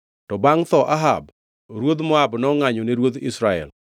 To bangʼ tho Ahab, ruodh Moab nongʼanyo ne ruodh Israel.